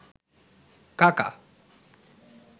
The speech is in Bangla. কাকা